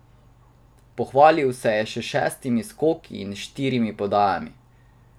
Pohvalil se je še s šestimi skoki in štirimi podajami.